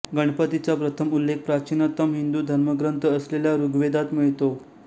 गणपतीचा प्रथम उल्लेख प्राचीनतम हिंदू धर्मग्रंथ असलेल्या ऋग्वेदात मिळतो